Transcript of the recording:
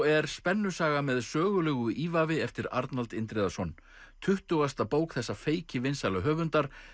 er spennusaga með sögulegu ívafi eftir Arnald Indriðason tuttugasta bók þessa feikivinsæla höfundar